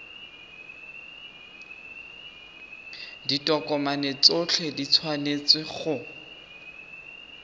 ditokomane tsotlhe di tshwanetse go